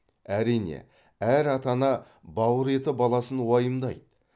әрине әр ата ана бауыр еті баласын уайымдайды